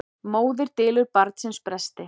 Móðir dylur barnsins bresti.